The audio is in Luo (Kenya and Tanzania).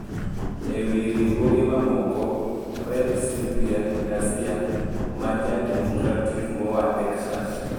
E wi riwruoge mamoko, Rep. Sylvia Garcia, ma Ja-Democratic moa Texas,